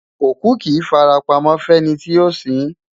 Òkú kì í fara pamọ́ fẹ́ni tí yóò sin ín.